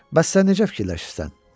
Bəs sən necə fikirləşirsən?